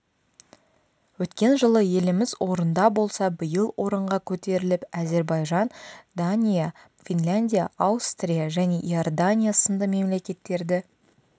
өткен жылы еліміз орында болса биыл орынға көтеріліп әзербайжан дания финляндия аустрия және иордания сынды мемлекеттерді